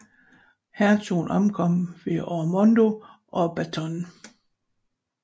Hertugen ankommer med Ormondo og Batone